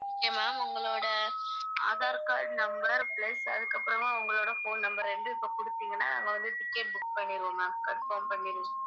okay ma'am உங்களோட aadhar card number plus அதுக்கப்புறமா உங்களோட phone number ரெண்டையும் இப்ப குடுத்தீங்கன்னா நாங்க வந்து ticket book பண்ணிடுவோம் ma'am confirm பண்ணி